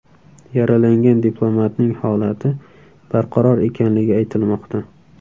Yaralangan diplomatning holati barqaror ekanligi aytilmoqda.